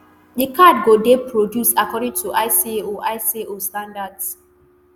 di card go dey produced according to icao icao standards.